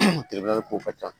ko ka ca